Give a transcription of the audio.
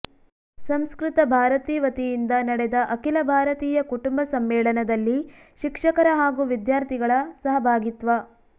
ಸಂಸ್ಕೃತ ಭಾರತೀ ವತಿಯಿಂದ ನಡೆದ ಅಖಿಲ ಭಾರತೀಯ ಕುಟುಂಬ ಸಮ್ಮೇಳನದಲ್ಲಿ ಶಿಕ್ಷಕರ ಹಾಗೂ ವಿದ್ಯಾರ್ಥಿಗಳ ಸಹಭಾಗಿತ್ವ